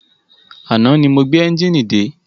Àná ni mo gbé ẹ́njìnì dé.